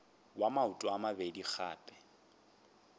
wa maoto a mabedi gape